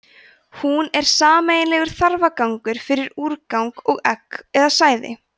hún er sameiginlegur þarfagangur fyrir úrgang og egg eða sæði